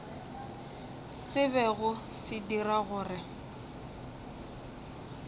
se bego se dira gore